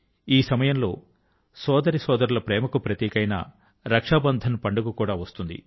ఈ సమయం లో సోదరీ సోదరుల ప్రేమ కు ప్రతీక అయిన రక్షాబంధన్ పండుగ కూడా వస్తుంది